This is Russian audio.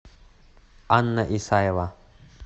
анна исаева